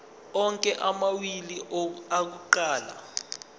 onke amawili akuqala